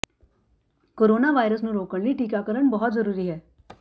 corona virus ਨੂੰ ਰੋਕਣ ਲਈ ਟੀਕਾਕਰਨ ਬਹੁਤ ਜ਼ਰੂਰੀ ਹੈ